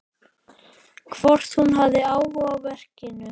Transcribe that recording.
Hvort hún hafi áhuga á verkinu.